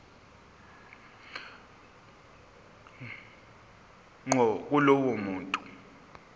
ngqo kulowo muntu